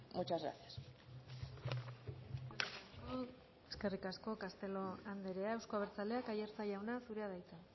muchas gracias eskerrik asko castelo andrea euzko abertzaleak aiartza jauna zurea da hitza